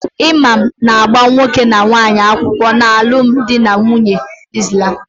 Imam na-agba nwoke na nwaanyi akwukwo n'alum di na nwunye Islam